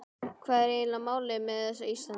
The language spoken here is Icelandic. Hvað er eiginlega málið með þessa Íslendinga?